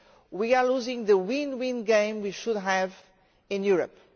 We are losing the win win game we should have in Europe.